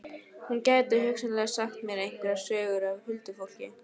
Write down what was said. Hún gæti hugsanlega sagt mér einhverjar sögur af huldufólki.